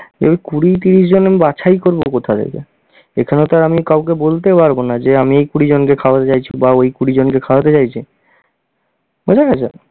এই কুড়ি ত্রিশ আমি জন বাছাই করবো কোথা থেকে? এখানে তো আর আমি কাউকে বলতে পারব না যে আমি এই কুড়িজনকে খাওয়াতে চাইছি বা ওই কুড়িজনকে খাওয়াতে চাইছি, বোঝা গেছে?